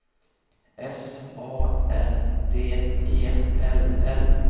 S A N D E L L